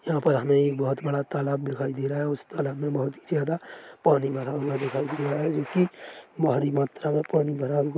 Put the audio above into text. यहाँ पर हमे एक बहोत बड़ा तालाब दिखाई दे रहा हैं उस तालाब मे बहोत ही ज्यादा पानी भरा हुआ दिखाई दे रहा हैं जो कि भारी मात्रा मे पानी भरा हुआ--